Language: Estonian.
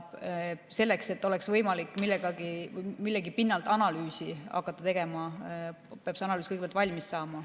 Selleks, et oleks võimalik millegi pinnalt hakata analüüsi tegema, peab see analüüs kõigepealt valmis saama.